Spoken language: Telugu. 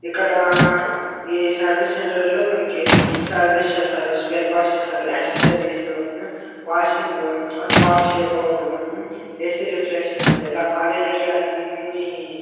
ఇక్కడ ఈ సర్వీస్ సెంటర్ లో మనకి సర్వీస్ సేస్తారు. స్పేర్ పార్ట్శ్ ఇస్తారు accessories hmm washing hmm car shape out hmm AC refreshing ఇలా కార్ రిలేటెడ్ అన్ని--